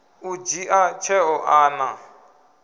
u dzhia tsheo a na